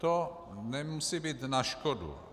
To nemusí být na škodu.